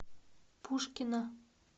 пушкина